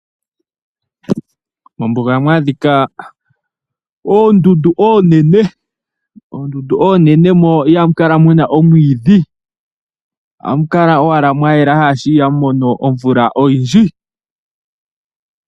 Mombuga ohamu adhika oondundu oonene mo ihamu kala omwiidhi, ohamu kala owala mwa yela, shaashi ihamu mono omvula oyindji.